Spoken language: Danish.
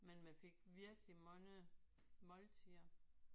Men man fik virkelig mange måltider